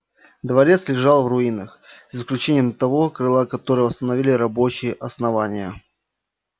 дворец лежал в руинах за исключением того крыла которое восстановили рабочие основания